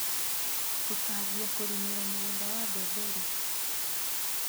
Tũkambia kũrĩmĩra mũgũnda wa bembe rĩ.